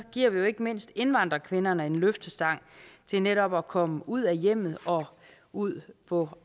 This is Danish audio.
giver vi jo ikke mindst indvandrerkvinderne en løftestang til netop at komme ud af hjemmene og ud på